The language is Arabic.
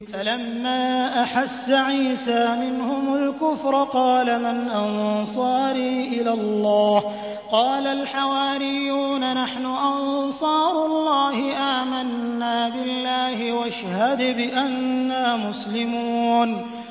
۞ فَلَمَّا أَحَسَّ عِيسَىٰ مِنْهُمُ الْكُفْرَ قَالَ مَنْ أَنصَارِي إِلَى اللَّهِ ۖ قَالَ الْحَوَارِيُّونَ نَحْنُ أَنصَارُ اللَّهِ آمَنَّا بِاللَّهِ وَاشْهَدْ بِأَنَّا مُسْلِمُونَ